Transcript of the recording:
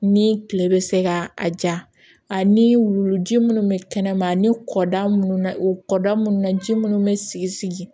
Ni kile bɛ se ka a ja a ni wuluji minnu bɛ kɛnɛma ani kɔda minnu na u kɔ da minnu na ji minnu bɛ sigi sigi